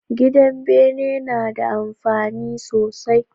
Gidan bene nada amfani sosai